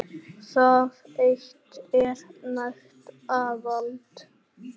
Það eitt er nægt aðhald.